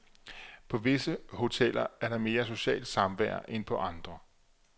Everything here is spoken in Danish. På visse hoteller er der mere socialt samvær end på andre.